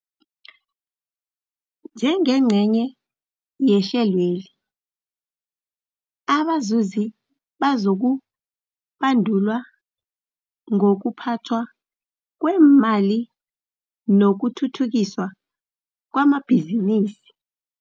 Njengengcenye yehlelweli, abazuzi bazokubandulwa ngokuphathwa kweemali nokuthuthukiswa kwamabhizinisi.